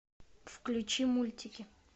включи мультики